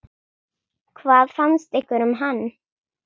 Hvað fannst ykkur um hann?